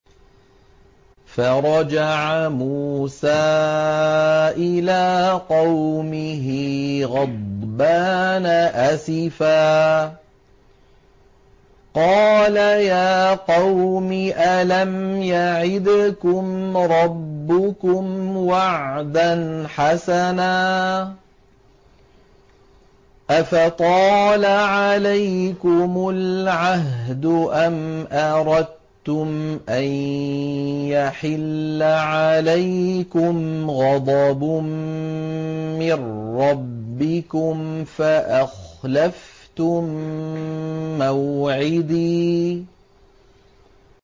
فَرَجَعَ مُوسَىٰ إِلَىٰ قَوْمِهِ غَضْبَانَ أَسِفًا ۚ قَالَ يَا قَوْمِ أَلَمْ يَعِدْكُمْ رَبُّكُمْ وَعْدًا حَسَنًا ۚ أَفَطَالَ عَلَيْكُمُ الْعَهْدُ أَمْ أَرَدتُّمْ أَن يَحِلَّ عَلَيْكُمْ غَضَبٌ مِّن رَّبِّكُمْ فَأَخْلَفْتُم مَّوْعِدِي